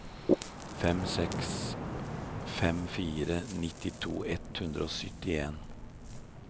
fem seks fem fire nittito ett hundre og syttien